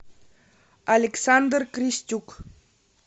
александр крестюк